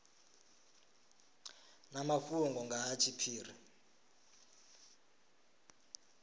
na mafhungo nga ha tshiphiri